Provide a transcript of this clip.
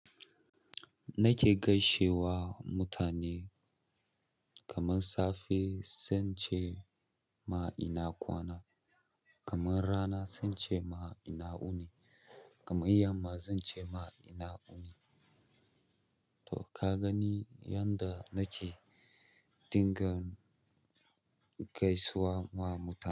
Nake gaishe wa mutane kaman safe zance ma ina kwana, kaman rana zance ma ina wuni, kaman yamma zance ma ina wuni to ka gani yanda nake dinga gaisuwa wa mutane.